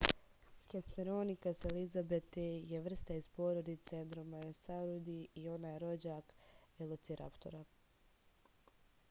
hesperonychus elizabethae je vrsta iz porodice dromaeosauridae i ona je rođak velociraptora